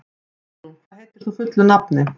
Álfrún, hvað heitir þú fullu nafni?